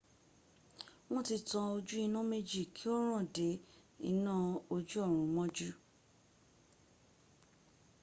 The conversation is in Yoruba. won ti tan oju ina meji ki o ran de ina oju orun moju